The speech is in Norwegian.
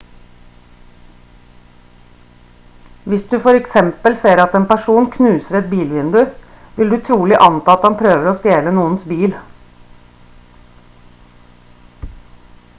hvis du for eksempel ser at en person knuser et bilvindu vil du trolig anta at han prøver å stjele noens bil